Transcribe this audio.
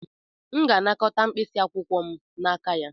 M ga-anakọta mkpịsị akwụkwọ m n'aka ya.